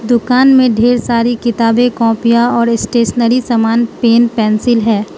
दुकान में ढेर सारी किताबें कॉपियां और स्टेशनरी सामान पेन पेंसिल है।